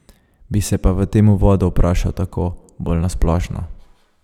Bi se pa v tem uvodu vprašal tako, bolj na splošno.